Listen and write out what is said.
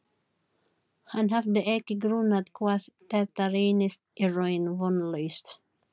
Hann hafði ekki grunað hvað þetta reynist í raun vonlaust.